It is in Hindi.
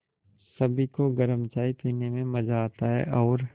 सभी को गरम चाय पीने में मज़ा आता है और